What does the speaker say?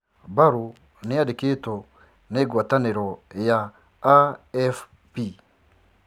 Barrow niandikitwo ni guataniro ya AFP.